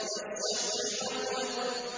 وَالشَّفْعِ وَالْوَتْرِ